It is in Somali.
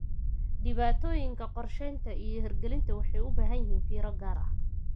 Dhibaatooyinka qorshaynta iyo hirgelinta waxay u baahan yihiin fiiro gaar ah.